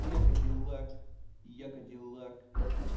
я кадиллак я кадиллак